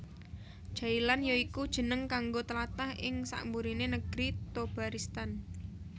Jailan ya iku jeneng kanggo tlatah ing sakburiné Negri Thobaristan